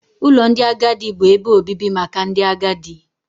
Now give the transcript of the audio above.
Ụlọ ndị agadi bụ ebe obibi maka ndị agadi.